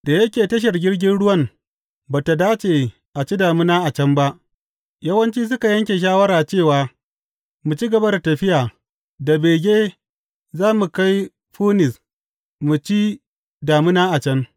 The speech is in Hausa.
Da yake tashar jirgin ruwan ba tă dace a ci damina a can ba, yawanci suka ba yanke shawara cewa mu ci gaba da tafiya, da bege za mu kai Funis mu ci damina a can.